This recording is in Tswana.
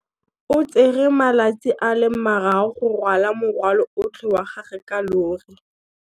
O tsere malatsi a le marraro go rwala morwalo otlhe wa gagwe ka llori.